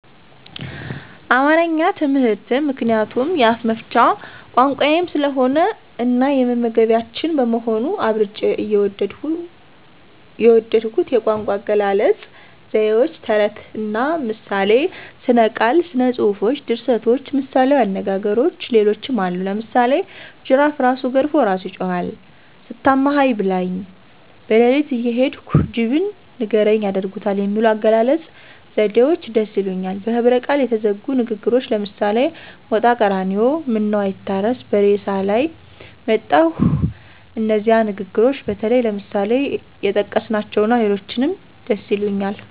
አማረኛ ትምህርትን ምክንያቱም የአፍመፍቻ ቋንቋየም ስለሆነ እናየመግባቢያችን በመሆኑ። አብልጨ የወደድሁት የቋንቋአገላለጽ፣ ዘይዎች፣ ተረትና ምሳሌ፣ ሥነቃል፣ ሥነጽፎች፣ ድርሰቶች፣ ምሣሌዊንግግሮች ሌሎችም አሉ። ለምሳሌ ጅራፍእራሱ ገርፎ እራሱ ይጮሀል፣ ሳታማኸኝ ብላይ። በለሊትእየሄዱ ጅብን ንገርኝ ያደርጉታል የሚሉ የአገላለጽ ዘዴዎች ደስ ይሊኛል። በህብረቃል የተዘጉ ንግግሮች ለምሳሌ ሞጣቀራኒዮ ምነዉአይታረስ በሬሳላይ መጣሁ እነዚህ ንግግሮች ወይም ለምሳሌ የጠቀስኀቸዉና ሌሎችንም ደስይሉኛል።